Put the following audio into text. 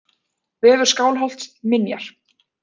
Vefur Skálholts: Minjar.